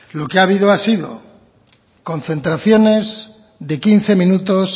lo que ha habido ha sido concentraciones de quince minutos